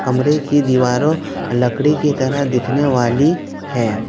कमरे की दीवारों लकड़ी की तरह दिखने वाली है।